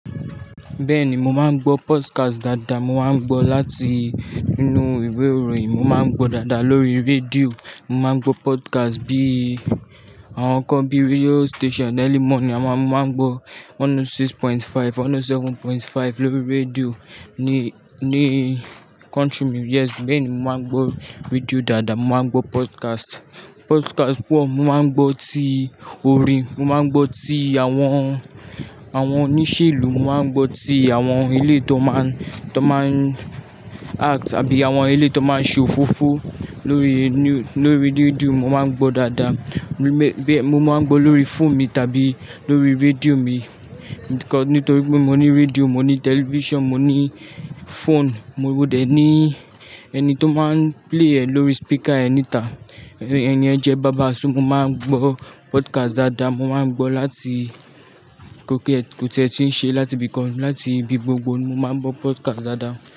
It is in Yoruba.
Bẹ́ẹ̀ni, mo máa ń gbọ́ podcast dáadáa. Mo máa ń gbọ́ láti inú ìwé ìròyìn, mo máa ń gbọ́ dáadáa lórí rédíò, mo máa ń gbọ́ podcast bí àwọn kan bí Radio Station Early Morning, àma-- mo máa ń gbọ́ 106.5, 107.5 lórí rédíò ní, ní Country mu yes. Bẹ́ẹ̀ni, mo máa ń gbọ́ rédíò dáadáa, mo máa ń gbọ́ podcast. Podcast pọ̀, mo máa ń gbọ́ tí orin, mo máa ń gbọ́ tí àwọn, àwọn oníṣèlú, mo máa ń gbọ́ tí àwọn ilé tó máa ń, tó máa ń act àbí àwọn ilé tó máa ń ṣe òfófó lórí niú-- lórí rédíò mo máa ń gbọ́ dáadáa. Mé-- bẹ́ẹ̀, mo máa ń gbọ́ lórí phone mi tàbí lórí rédíò mi.-- nítorí pé mo ní rédíò, mo ní tẹlifíṣàn, mo ní fóònù, mo dẹ ní ẹni tó máa ń play ẹ̀ lórí speaker ẹ ni ta. Ẹ̀ni yẹn jẹ́ baba so mo máa ń gbọ́ podcast dáadáa. Mo máa ń gbọ́ láti kó ki ẹ̀ kò ti ẹ́ tí ń ṣe láti ibìkan, láti ibi gbogbo ni mo máa ń gbọ́ podcast dáadáa.